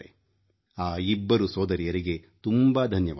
ಆ ಇಬ್ಬರು ಸೋದರಿಯರಿಗೆ ತುಂಬಾ ಧನ್ಯವಾದಗಳು